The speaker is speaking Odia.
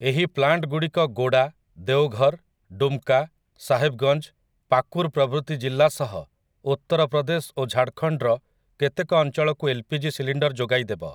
ଏହି ପ୍ଲାଣ୍ଟଗୁଡି଼କ ଗୋଡ଼ା, ଦେଓଘର୍, ଡୁମ୍‌କା, ସାହେବ୍‌ଗଞ୍ଜ, ପାକୁର୍ ପ୍ରଭୃତି ଜିଲ୍ଲା ସହ ଉତ୍ତରପ୍ରଦେଶ ଓ ଝାଡ଼ଖଣ୍ଡର କେତେକ ଅଞ୍ଚଳକୁ ଏଲ୍‌ପିଜି ସିଲିଣ୍ଡର ଯୋଗାଇଦେବ ।